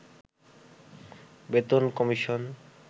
বেতন কমিশন